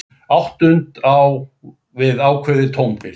Áttund á við ákveðið tónbil.